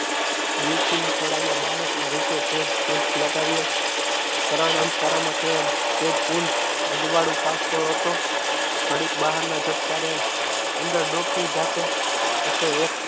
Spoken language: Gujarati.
દેવકાના દેવકીના ખોળામાં બાળકના રૂપી તે જ પૂંછ લગાવ્યો કરાર અંધકાર માટે તે જ પૂંજ અજવાળું પહોંચતો હતો. ઘડીક બહારના ધબકારે અંદર ડોકિયું જાતો હતો એક